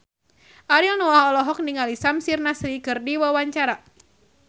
Ariel Noah olohok ningali Samir Nasri keur diwawancara